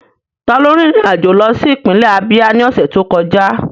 Taló rin ìrìn àjò lọ sí ìpínlẹ̀ Ábíá ní ọ̀sẹ̀ tó kọjá?